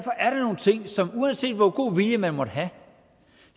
nogle ting som uanset hvor god vilje man måtte have